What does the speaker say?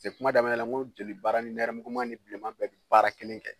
kuma daminɛ la n ko jolibara nɛrɛmugulama ni bilenman bɛɛ bɛ baara kelen kɛ